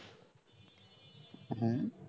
হ্যাঁ,